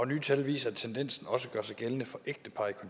nye tal viser at tendensen også gør sig gældende for ægtepar i